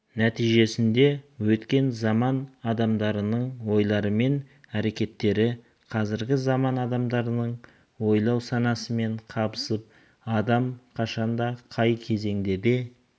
нәтижесінде өткен заман адамдарының ойлары мен әрекеттері қазіргі заман адамдарының ойлау санасымен қабысып адам қашанда қай кезеңде де